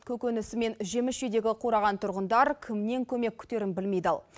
көкөнісі мен жеміс жидегі қураған тұрғындар кімнен көмек күтерін білмей дал